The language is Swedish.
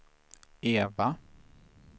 Eva